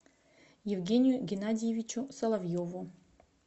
евгению геннадьевичу соловьеву